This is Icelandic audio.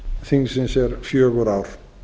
þingsins er fjögur ár